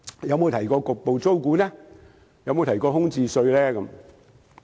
有否提到局部租管、空置稅呢？